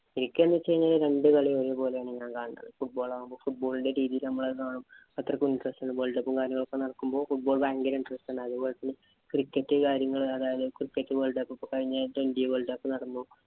എനിക്ക് എന്ന് വച്ച് കഴിഞ്ഞാല് രണ്ടു കളിയും ഞാന്‍ ഒരുപോലെയാണ് കാണുന്നത്. Football ആകുമ്പോ football ഇന്‍റെ team ഇ നമ്മളത് കാണും. അത്രയ്ക്കും interest ആണ്. Worldcup ഉം, കാര്യങ്ങളും ഒക്കെ നടക്കുമ്പോ football ഭയങ്കര interest ആണ്. അതേപോലെ തന്നെ cricket കാര്യങ്ങള് അതായത് cricket world cup ഇപ്പൊ കഴിഞ്ഞ ആഴ്ച ഇന്‍ഡ്യയില്‍ world cup നടന്നു.